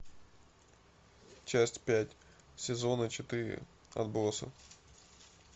часть пять сезона четыре отбросы